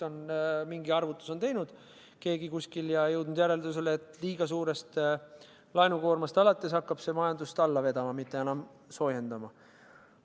Kuskil on keegi mingi arvutuse teinud ja jõudnud järeldusele, et liiga suur laenukoormus hakkab majandust alla vedama, mitte enam soojendama.